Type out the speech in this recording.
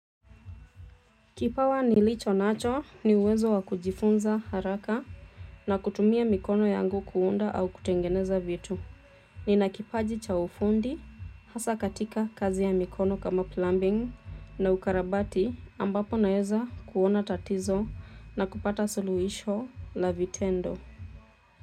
Kipawa nilicho nacho ni uwezo wa kujifunza haraka na kutumia mikono yangu kuunda au kutengeneza vitu. Nina kipaji cha ufundi, hasa katika kazi ya mikono kama plumbing na ukarabati ambapo naeza kuona tatizo na kupata suluhisho la vitendo.